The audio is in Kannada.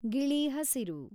ಗಿಳಿ ಹಸಿರು